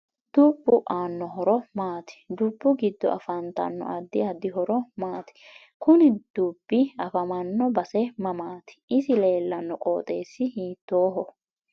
Dubbu aano horo maati dubbu giddo afantanno addi addi horo maati kuni dubbi afamanno base mamaati isi leelanno qoxeesi hiitooho